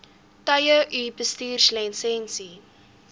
tye u bestuurslisensie